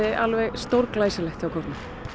alveg stórglæsilegt hjá kórnum